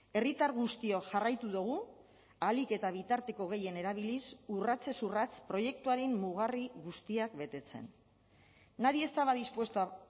herritar guztiok jarraitu dugu ahalik eta bitarteko gehien erabiliz urratsez urrats proiektuaren mugarri guztiak betetzen nadie estaba dispuesto a